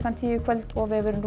tíu í kvöld og vefurinn